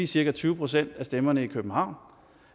cirka tyve procent af stemmerne i københavn